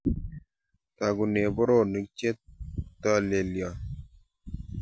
Togunen boroonik chetolelion.